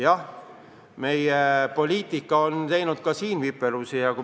Jah, meie poliitikal on siin viperusi ette tulnud.